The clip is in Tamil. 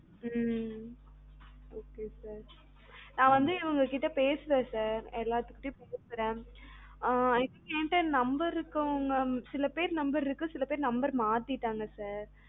ம் நான் வந்து இவங்க கிட்ட பேசுறேன் sir எல்லாரு கிட்டயும் பேசுறேன் ஆஹ் எண்ட சிலபேர் no இருக்கு சில பேர் no மாத்திட்டாங்க sir